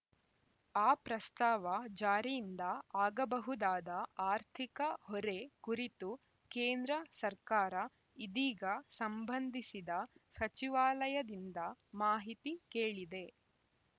ಆ ಪ್ರಸ್ತಾವ ಜಾರಿಯಿಂದ ಆಗಬಹುದಾದ ಆರ್ಥಿಕ ಹೊರೆ ಕುರಿತು ಕೇಂದ್ರ ಸರ್ಕಾರ ಇದೀಗ ಸಂಬಂಧಿಸಿದ ಸಚಿವಾಲಯದಿಂದ ಮಾಹಿತಿ ಕೇಳಿದೆ